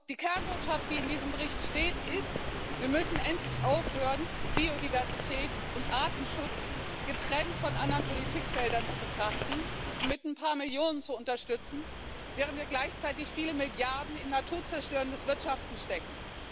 Die Kernbotschaft, die in diesem Bericht steht, ist Wir müssen endlich aufhören, Biodiversität und Artenschutz getrennt von anderen Politikfeldern zu betrachten und mit ein paar Millionen zu unterstützen, während wir gleichzeitig viele Milliarden in naturzerstörendes Wirtschaften stecken.